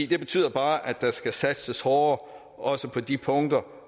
det betyder bare at der skal satses hårdere også på de punkter